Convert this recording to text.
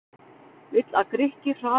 Vill að Grikkir hraði umbótum